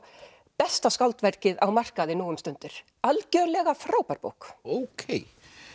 besta skáldverkið á markaði nú um stundir algjörlega frábær bók ókei